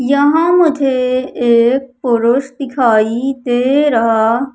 यहां मुझे एक पुरुष दिखाई दे रहा--